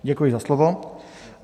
Děkuji za slovo.